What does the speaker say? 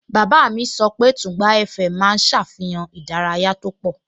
Bàbá mi sọ pé Tùngbá FM máa ń ṣàfihàn ìdárayá tó pọ̀